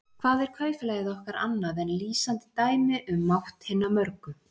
Hvað er kaupfélagið okkar annað en lýsandi dæmi um mátt hinna mörgu?